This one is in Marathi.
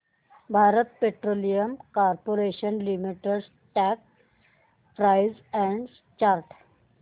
Bharat petroleum corporation limited stock price and chart